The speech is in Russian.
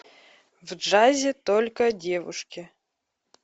в джазе только девушки